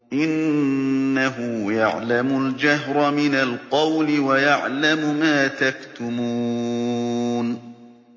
إِنَّهُ يَعْلَمُ الْجَهْرَ مِنَ الْقَوْلِ وَيَعْلَمُ مَا تَكْتُمُونَ